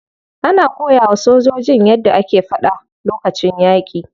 Ana koyawa sojojin yadda ake fada lokacin yaki.